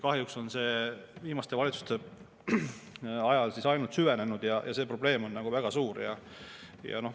Kahjuks on see viimaste valitsuste ajal ainult süvenenud ja see probleem on väga suur.